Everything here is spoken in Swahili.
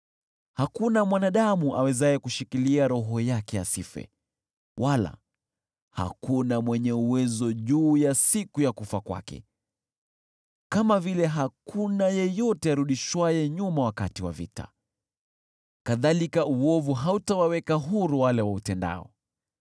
Hakuna mwanadamu awezaye kushikilia roho yake asife, wala hakuna mwenye uwezo juu ya siku ya kufa kwake. Kama vile hakuna yeyote arudishwaye nyuma wakati wa vita, kadhalika uovu hautawaweka huru wale wautendao.